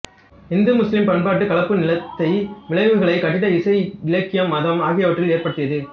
இந்துமுஸ்லிம் பண்பாட்டுக் கலப்பு நிலைத்த விளைவுகளைக் கட்டிடக்கலை இசை இலக்கியம் மதம் ஆகியவற்றில் ஏற்படுத்தியது